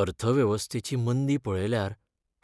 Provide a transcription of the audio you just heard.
अर्थवेवस्थेची मंदी पळयल्यार